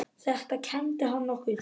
Þetta kenndi hann okkur.